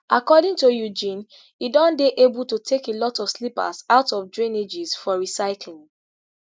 according to eugene e don dey able to take a lot of slippers out of drainages for recycling